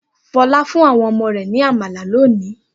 Fọlá fún àwọn ọmọ rẹ̀ ní àmàlà lónìí?